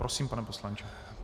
Prosím, pane poslanče.